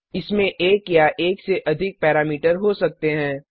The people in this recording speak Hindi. इसमें एक या एकसे अधिक पैरामीटर हो सकते हैं